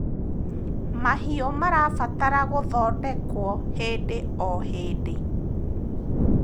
mahiũ marabatara guthondekwo hĩndĩ o hĩndĩ